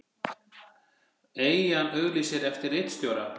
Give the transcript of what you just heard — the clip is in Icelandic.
Eyjan auglýsir eftir ritstjóra